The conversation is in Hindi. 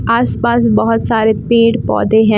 आस पास बहुत सारे पेड़ पौधें हैं।